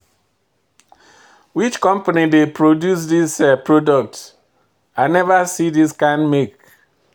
Which company dey produce this product, I never see this kind make.